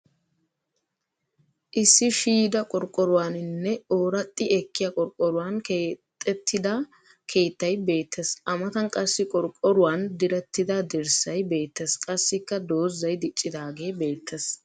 Issi shiyda qorqqoruwaninne ooraxxi ekkiya qorqqoruwan keexattida keettay beettes. A matan qassi qorqqoruwan direttida dirssay beettes. Qassikka dozzay diccidaagee beettes.